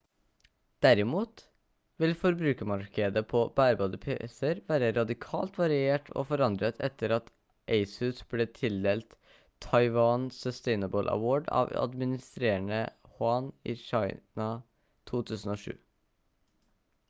derimot vil forbrukermarkedet på bærbare pc-er være radikalt variert og forandret etter at asus ble tildelt taiwan sustainable award av administrerende yuan i kina 2007